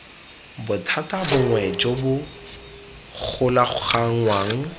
bothata bongwe jo bo golaganngwang